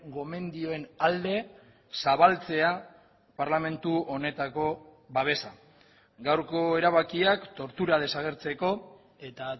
gomendioen alde zabaltzea parlamentu honetako babesa gaurko erabakiak tortura desagertzeko eta